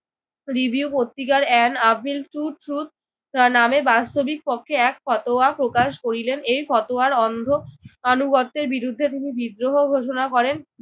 Review পত্রিকার an appeal to truth তার নামে বাস্তবিকপক্ষে এক ফতোয়া প্রকাশ করিলেন। এই ফতোয়ার অন্ধ আনুগত্যের বিরুদ্ধে তিনি বিদ্রোহ ঘোষণা করেন।